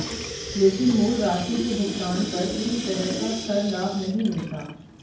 लेकिन मूल राशि के भुगतान पर किसी तरह का कर लाभ नहीं मिलता